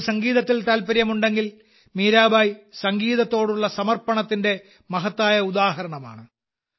നിങ്ങൾക്ക് സംഗീതത്തിൽ താൽപ്പര്യമുണ്ടെങ്കിൽ മീരാബായ് സംഗീതത്തോടുള്ള സമർപ്പണത്തിന്റെ മഹത്തായ ഉദാഹരണമാണ്